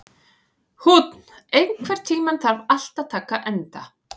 Húnn, einhvern tímann þarf allt að taka enda.